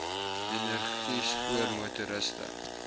energie spoor motoriste